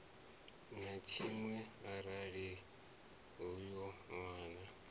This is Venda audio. na tshiṅwe arali uyo nwana